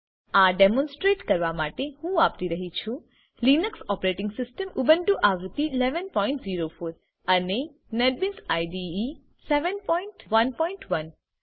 આ ડેમોનસ્ટ્રેટ કરવા માટે હું વાપરી રહ્યી છું લીનક્સ ઓપરેટીંગ સીસ્ટમ ઉબુન્ટુ આવૃત્તિ 1104 અને નેટબીન્સ આઇડીઇ આવૃત્તિ 711